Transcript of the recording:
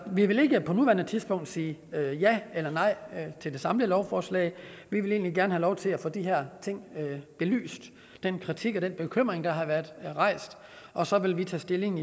vil ikke på nuværende tidspunkt sige ja eller nej til det samlede lovforslag vi vil egentlig gerne have lov til at få de her ting belyst den kritik og den bekymring der har været rejst og så vil vi tage stilling